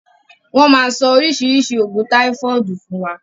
Wọn máa sọ oríṣiríṣi oògùn táifọ̀dù fún wa